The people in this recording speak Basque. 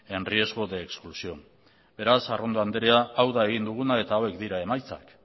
en riesgo de expulsión beraz arrondo andrea hau da egin duguna eta hauek dira emaitzak